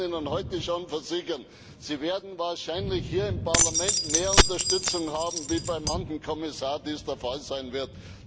Ich kann Ihnen heute schon versichern, Sie werden wahrscheinlich hier im Parlament mehr Unterstützung haben, als dies bei manchem Kommissar der Fall sein wird.